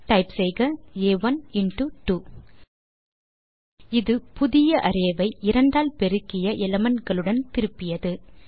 type செய்க ஆ1 into 2 இது புதிய அரே ஐ இரண்டால் பெருக்கிய எலிமெண்ட் களுடன் திருப்பியது